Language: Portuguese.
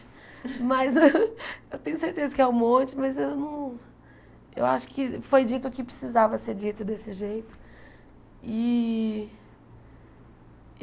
Mas eu tenho certeza que é um monte, mas eu não eu acho que foi dito o que precisava ser dito desse jeito e.